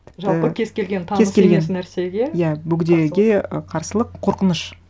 жалпы кез келген таныс емес нәрсеге кез келген иә бөгдеге ы қарсылық қорқыныш